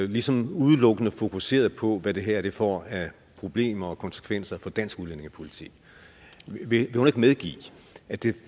ligesom udelukkende fokuserede på hvad det her får af problemer og konsekvenser for dansk udlændingepolitik vil hun ikke medgive at det